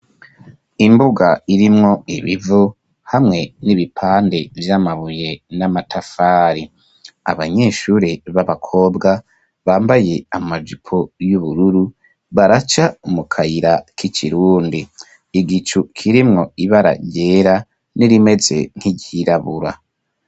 Imbuga irimwo ibivu hamwe n'ibipande vy'amabuye n'amatafari. Abanyeshuri b'abakobwa bambaye amajipo y'ubururu, baraca mu kayira k'ikirundi. Igicu kirimwo ibara ryera n'irimeze nk'iryirabura.